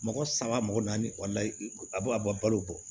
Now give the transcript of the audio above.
Mɔgɔ saba mɔgɔ naani a bɔ balo bɔ